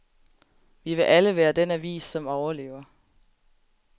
Vi vil alle være den avis, som overlever.